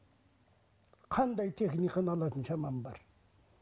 қандай техниканы алатын шамам бар